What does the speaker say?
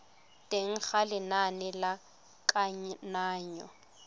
teng ga lenane la kananyo